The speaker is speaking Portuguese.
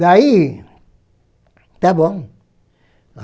Daí, está bom.